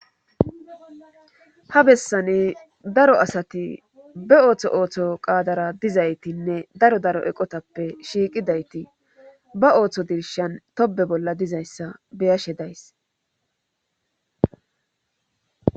Ha bessane daro asati be ooththo ooththo qaadara dizaytinne daro daro eqotappe shiiqidayti ba ooththo dirshan tobe bolla dizayssa beyashe days